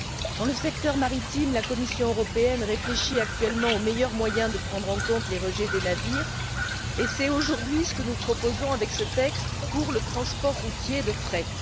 Dans le secteur maritime, la Commission européenne réfléchit actuellement au meilleur moyen de prendre en compte les rejets des navires, et c'est aujourd'hui ce que nous proposons avec ce texte pour le transport routier de fret.